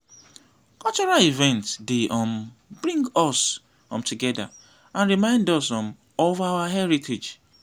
cultural events dey um bring us um together and remind us um of our heritage.